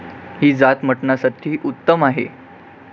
ही जात मटणसाठी उत्तम आहे.